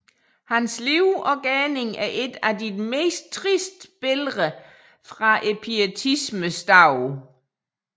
Hans liv og gerning er et af de tristeste billeder fra pietismens dage